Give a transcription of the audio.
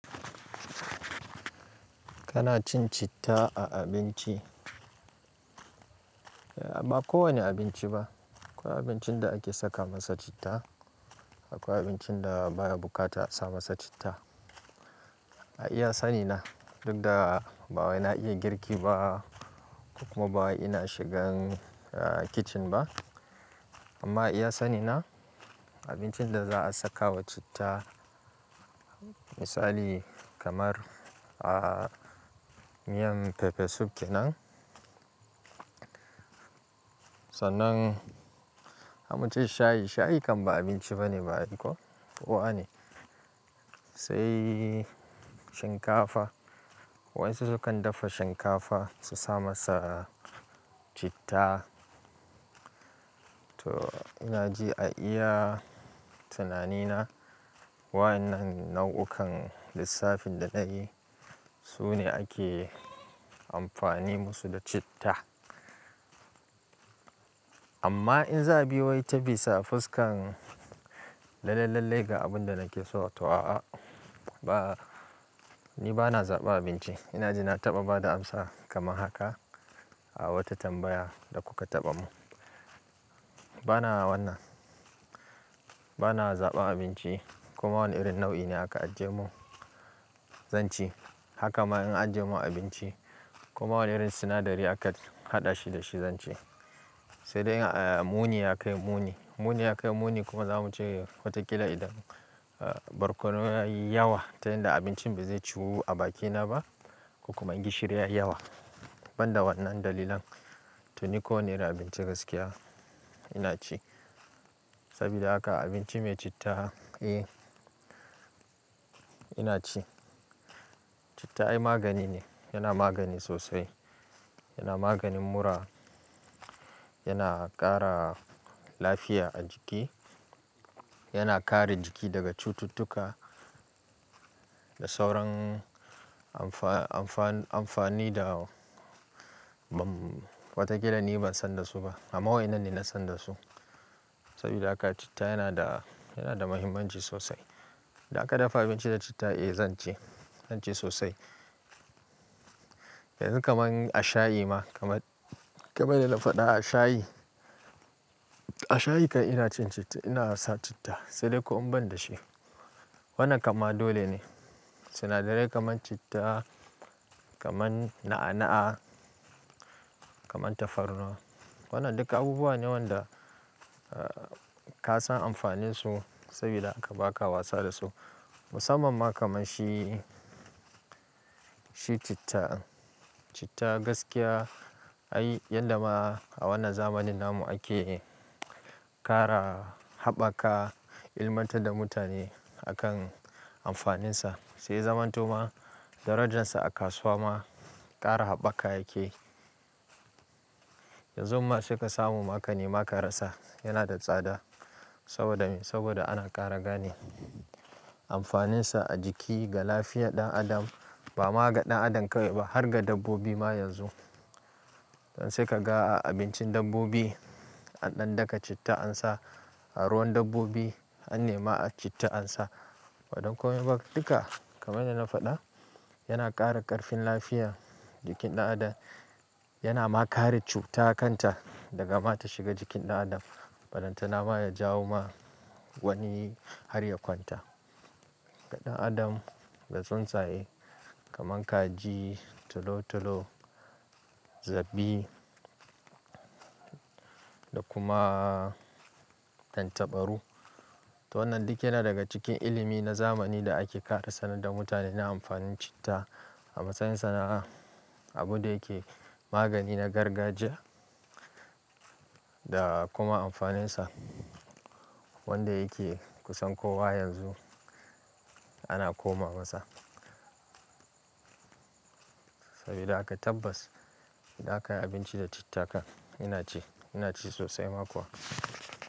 Kana cin citta a abinci? Ba kowane abinci ba. Akwai abincin da ake saka masa citta, akwai abincin da baya bukatar a saka masa citta. A iya sani na, duk da ba wai na iya girki ba kuma ba wa ina shigan kitchen ba. Amma a iya sani na abincin da za a saka wa citta misali kamar miyar pepper soup kenan. Sannan zamu ce shayi, ba abinci ba ne Owa ne. Sai shinkafa. Waɗansu sukan dafa shinkafa su saka masa citta. To ina ji a iya tunani na, waɗannan nau'ukan lissafin da na yi, su ne ake amfani masu da citta. Amma in za a bi wai ta bisa fuska lallai lallai ga abun da nake so, to a'a. Ba, ni ba na zaɓar abinci. Ina ji na taɓa bayar da amsa kamar haka a wata tambayar da kuka taɓa yi min. Ba na wannan. Ba na zaɓa abinci kuma wani irin nau'i ne haka ajiye mun, zan ci. Haka ma in an ajiye min abinci koma wani irin sinadari aka haɗa shi da shi zan ci. Sai dai muni ya kai muni. Muni ya kai muni kuma zamu ce watakila idan barkono yayi yawa ta yadda abincin ba zai ciwu a bakina ba, ko kuma in gishiri ya yi yawa. Ban da waɗannan dalilan, to ni ko wani irin abinci gaskiya ina ci. Saboda haka abinci mai citta, eh ina ci. Citta ai magani ne, yana magani sosai. Yana maganin mura, yana ƙara lafiya a jiki, yana kare jiki daga cututtuka da sauran amfani da watakila ni ban san dasu ba. Amma waɗannan ne na san dasu. Sabida haka citta yana da, yana da muhimmanci sosai. Idan aka dafa abinci da citta, eh zan ci. Zan ci sosai. Yanzu kamar a shayi ma, kamar, kamar yadda na faɗa a shayi. A shayi kam ina cin citta, ina sa citta. Sai dai in ban da shi. Wannan kama dole ne. Sinadarai kaman citta, kaman na'a-na'a, kaman tafarnuwa. Waɗannan duka abubuwa ne waɗanda ka san amfaninsu saboda haka ba ka wasa dasu. Musamman ma kamar shi, shi citta. Citta gaskiya ai yadda ma a wannan zamanin nan mu ake ƙara haɓaka ilimantar da mutane akan amfaninsa. Sai ya zama ma, darajarsa a kasuwa ma ƙara haɓaka yake. Yanzun ma sai ka samu ma ka nema ka rasa. Yana da tsada saboda me? Saboda ana ƙara gane amfaninsa a jiki ga lafiyar ɗan adam. Ba ma ga ɗan adam kawai ba har ga dabbobi ma yanzu. Don sai ka ga a abincin dabbobi an ɗan daka citta an sa, a ruwan dabbobi an nema citta ansa. Ba don komai ba duka kamar yadda na faɗa, yana ƙara ƙarfin lafiyar jikin ɗan adam. Yana ma kare cuta kanta daga ta shiga jikin ɗan adam. Balle ma ya jawo wa wani har ya kwanta. Ga ɗan adam da tsuntsaye kamar kaji, tolo-tolo, zabi da kuma tantabaru. To wannan duk yana daga cikin ilimi na zamani da ake ƙara sanar da mutane na amfanin citta. A matsayin sa na abin da yake magani na gargajiya da kuma amfaninsa wanda yake kusan kowa yanzu ana koma masa. Saboda haka tabbas idan aka yi abinci da citta kam, ina ci. Ina ci sosai ma kuwa.